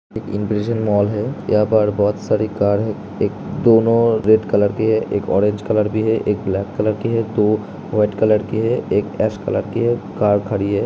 Impression mall है यहा पर बहुत सारी कार है दोनों रेड कलर के है एक ओरेंज कलर के है दो वाईट कलर के है एक एस कलर की है कार खड़ी है।